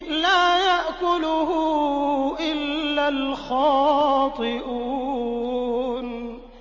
لَّا يَأْكُلُهُ إِلَّا الْخَاطِئُونَ